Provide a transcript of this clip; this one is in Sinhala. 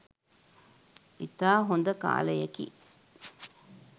ඉතා හොඳ කාලයකි